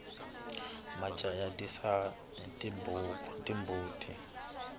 majaha ya risa timbuti